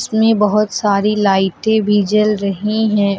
इसमें बहोत सारी लाइटें भी जल रही हैं।